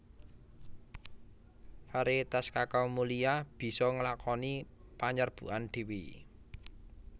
Variétas kakao mulia bisa nglakoni panyerbukan dhéwé